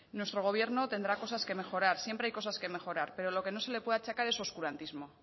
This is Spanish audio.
nuestro gobierno tendrá cosas que mejorar siempre hay cosas que mejorar pero lo que no se le puede achacar en oscurantismo